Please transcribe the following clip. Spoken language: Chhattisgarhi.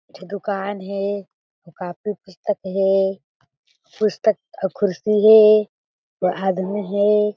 एक ठी दुकान हें अउ कॉपी पुस्तक हें पुस्तक अउ कुर्सी हें आदमी हें।